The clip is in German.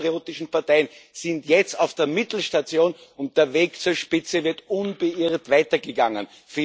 Diese patriotischen Parteien sind jetzt auf der Mittelstation unterwegs, zur Spitze wird unbeirrt weitergegangen.